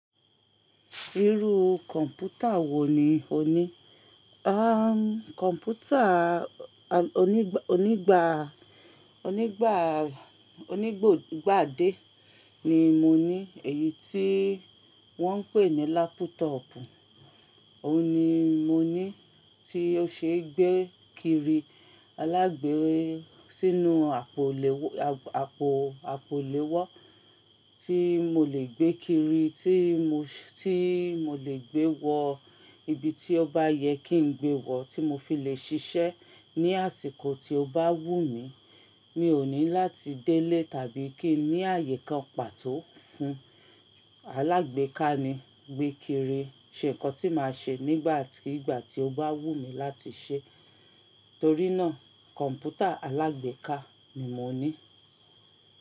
Irú kọ̀mpútà wò ní ò ní? Aah, kọ̀mpútà onígbà, onígbà, onígbògbàdé ni mo ní. Èyí tí wọ́n ń pè ní lápútọ̀ọ̀pù. Òun ni mo ní tí ó ṣeé gbé kiri alágbe sínú àpò, àpò, àpò lè wọ́ tí mo lè gbé kiri, tí mo, tí mo lè gbé wọ ibi tí ó bá yẹ kí n gbé wọ̀ tí mo fi lè ṣiṣẹ́ ní àsìkò tí ó bá wù mí. Mi ò ní láti délé tàbí kí n ní àyè kan pàtó fún. Alágbe ká ni gbé kiri ṣe ǹkan tí màá ṣe nígbà tí ìgbà tí ó bá wù mí láti ṣe. Torí náà kọ̀mpútà alágbèéká ni mo ní.